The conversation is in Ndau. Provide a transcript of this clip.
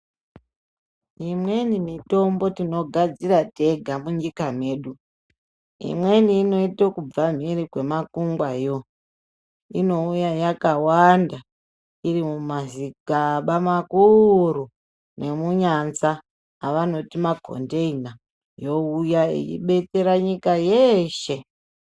Imweni mitombo tinogadzira tega munyika medu. Imweni inoite ekubva mumphiri kwemakungwayo. Inouya yakawanda iri mumazikaba makuuuru nemunyanza, avanoti makhondeina yeibekera nyika yeeeshe.